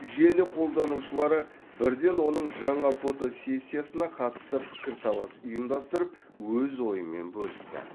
желі қолданушылары бірден оның жаңа фотосессиясына қатысты пікірталас ұйымдастырып өз ойымен бөлісті